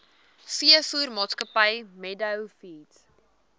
veevoermaatskappy meadow feeds